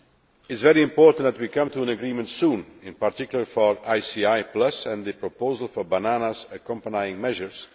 It is very important that we come to an agreement soon, in particular for ICI Plus and the proposal for banana accompanying measures.